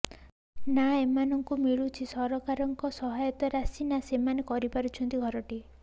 ନା ଏମାନଙ୍କୁ ମିଳୁଛି ସରକାର ଙ୍କ ସହାୟତା ରାଶି ନା ସେମାନେ କରିପାରୁଛନ୍ତି ଘରଟିଏ